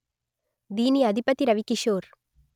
దీని అధిపతి రవికిషోర్